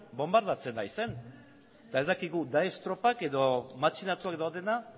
bonbardatzen ari zen eta ez dakigu daesh tropak edo matxinatuak daudena